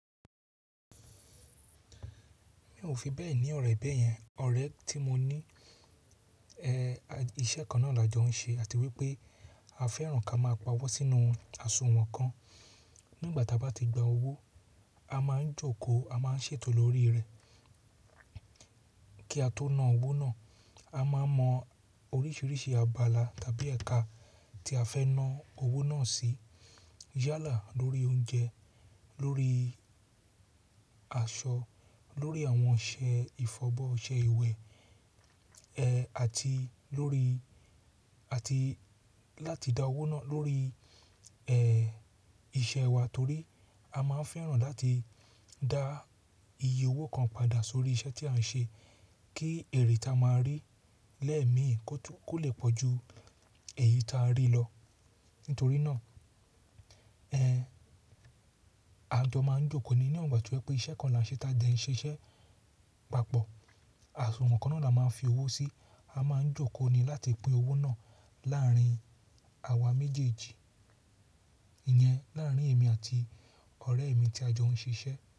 Mi ò fi bẹ́ẹ̀ ní ọ̀rẹ́ bẹ́yẹn, ọ̀rẹ́ tí mo ní, ẹ́, iṣẹ́ kan náà la jọ ń ṣe àti wípé a fẹ́ràn ká máa pa owó sínú àsùnwọ̀n kan. Nígbà tí a bá ti gba owó, a máa ń jókòó, a máa ń ṣètò lórí rẹ̀ kí a tó na owó náà. A máa mọ oríṣiríṣi abala tàbí ẹ̀ka tí a fẹ́ ná owó náà sí. Yálà lórí oúnjẹ, lórí aṣọ, lórí àwọn ọṣẹ ìfọbọ́, ọṣẹ ìwẹ̀, ẹ́, àti lórí-- àti láti dá owó náà lórí, ẹ́, iṣẹ́ wa torí a máa ń fẹ́ràn láti dá iye owó kan padà sórí iṣẹ́ tí à ń ṣe kí ère tí a máa rí lẹ́ẹ̀ẹ̀meé kó lè pọ̀ ju èyí tí a rí lọ. Nítorí náà, ẹ́, a jọ máa ń jókòó ni ni won ígbà to sepe iṣẹ́ kan la ń ṣe tá ti e ń ṣiṣẹ́ papọ̀, àsùnwọ̀n kan náà la máa ń fi owó sí, a máa ń jókòó ni láti pín owó náà láàárín àwa méjèèjì. Ìyẹn láàárín èmi àti ọ̀rẹ́ mi tí a jọ ń ṣiṣẹ́